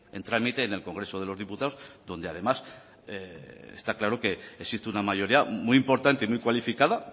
en trámite en el congreso de los diputados donde además está claro que existe una mayoría muy importante y muy cualificada